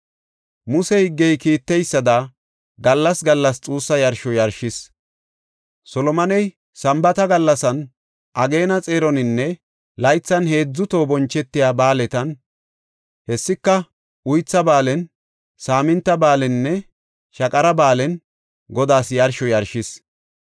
Muse higgey kiitteysada gallas gallas xuussa yarsho yarshees. Solomoney Sambaatan gallas, ageena xeeroninne laythan heedzu toho bonchetiya ba7aaletan, hessika Uytha Ba7aalen, Saaminta Ba7aaleninne Shaqara Ba7aalen Godaas yarsho yarshees.